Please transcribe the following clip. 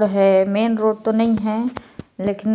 --main road तो नई है लकिन